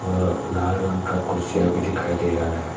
अ लाल रंग का कुर्सियां भी दिखाई दे रहा है।